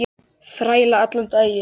Þræla allan daginn!